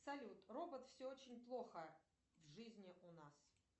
салют робот все очень плохо в жизни у нас